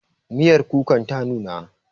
Miyar kukan ta nuna